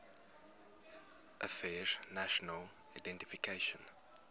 affairs national identification